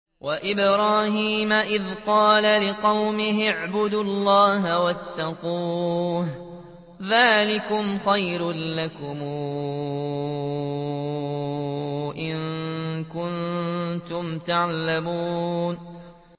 وَإِبْرَاهِيمَ إِذْ قَالَ لِقَوْمِهِ اعْبُدُوا اللَّهَ وَاتَّقُوهُ ۖ ذَٰلِكُمْ خَيْرٌ لَّكُمْ إِن كُنتُمْ تَعْلَمُونَ